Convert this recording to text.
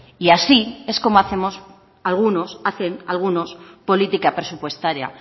y así es como hacemos algunos hacen algunos política presupuestaria